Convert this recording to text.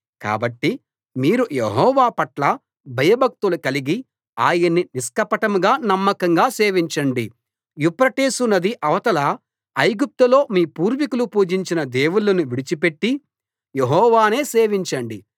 కాబట్టి మీరు యెహోవా పట్ల భయభక్తులు కలిగి ఆయన్ని నిష్కపటంగా నమ్మకంగా సేవించండి యూఫ్రటీసు నది అవతల ఐగుప్తులో మీ పూర్వీకులు పూజించిన దేవుళ్ళను విడిచిపెట్టి యెహోవానే సేవించండి